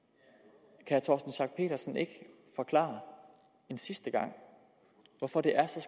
er torsten schack pedersen ikke forklare en sidste gang hvorfor det er så